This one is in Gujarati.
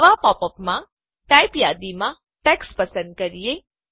નવાં પોપ અપ માં ટાઇપ યાદીમાંથી ટેક્સ્ટ પસંદ કરીએ